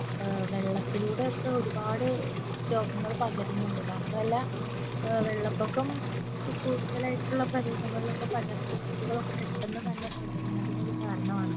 ഏർ വെള്ളത്തിലൂടെ ഒക്കെ ഒരുപാട് രോഗങ്ങൾ പകരുന്നുണ്ട് മാത്രല്ല ഏർ വെള്ളപൊക്കം കൂടുതലായിട്ടുള്ള പ്രദേശങ്ങളിൽ ഒക്കെ പകർച്ച വ്യാധികളൊക്കെ പെട്ടന്ന് തന്നെ പകരുന്നതിനു ഒരു കാരണാണ്